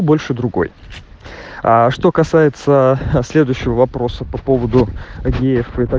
больше другой а что касается следующего вопроса по поводу е и